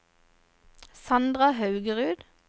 Sandra Haugerud